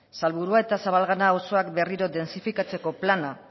salburua eta zabalgana auzoak berriro dentsifikatzeko plana